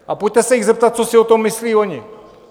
A pojďte se jich zeptat, co si o tom myslí oni.